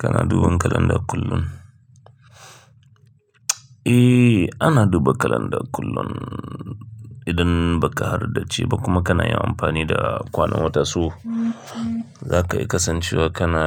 Kana duban kalanda kullum? Eh, ana duba kalanda kullum. Idan ba ka harda ci ba kuma kana yin amfani da kwanan watan su, za ka iya kasancewa kana